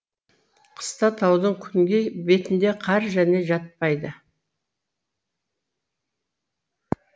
қыста таудың күнгей бетінде қар және жатпайды